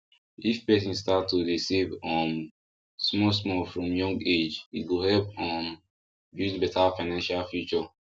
if person start to dey save um small small from young age e go help um build better financial future